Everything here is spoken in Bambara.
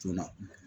Joona